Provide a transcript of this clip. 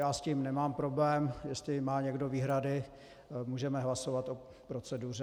Já s tím nemám problém, jestli má někdo výhrady, můžeme hlasovat o proceduře.